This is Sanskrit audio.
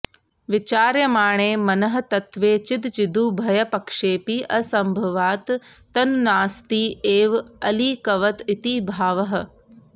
विचार्यमाणे मनः तत्त्वे चिदचिदुभयपक्षेपि असम्भवात् तन्नास्ति एव अलीकवत् इति भावः